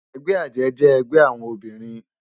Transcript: Ègbè àjè jè ègbè áwòn óbirin